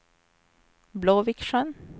Blåviksjön